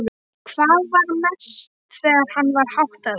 Hvað mest þegar hann var háttaður.